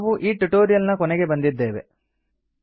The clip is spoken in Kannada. ಈಗ ನಾವು ಈ ಟ್ಯುಟೋರಿಯಲ್ ನ ಕೊನೆಗೆ ಬಂದಿದ್ದೇವೆ